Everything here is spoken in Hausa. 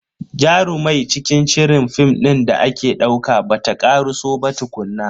Jarumai cikin shirin film din da ake dauka bata karaso ba tukunna.